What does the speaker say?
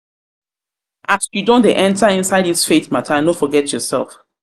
you don dey enta inside dis faith mata no forget yoursef.